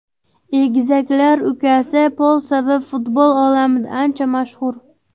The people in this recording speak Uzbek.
Egizaklar ukasi Pol sabab futbol olamida ancha mashhur.